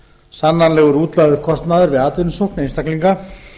sannanlegur útlagður kostnaður við atvinnusókn einstaklinga